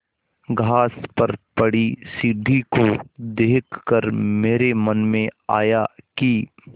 घास पर पड़ी सीढ़ी को देख कर मेरे मन में आया कि